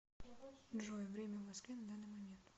джой время в москве на данный момент